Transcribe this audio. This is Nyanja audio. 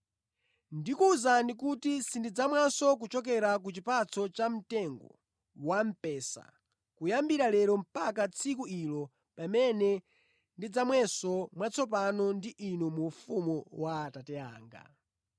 Ndikuwuzani kuti sindidzamwanso kuchokera ku chipatso cha mtengo wa mpesa kuyambira lero mpaka tsiku ilo pamene ndidzamwenso mwatsopano ndi inu mu ufumu wa Atate anga.”